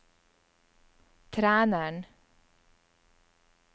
treneren